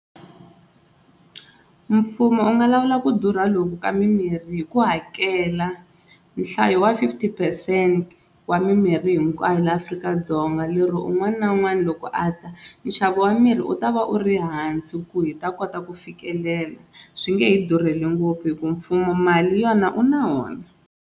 Mfumo wu nga lawula ku durha loku ka mimirhi hi ku hakela nhlayo wa fifty percent wa mimirhi hinkwayo laha Afrika-Dzonga, lero un'wana na un'wana loko a ta nxavo wa mirhi wu ta va u ri hansi ku hi ta kota ku fikelela swi nge he durheli ngopfu hi ku mfumo mali yona u na wona.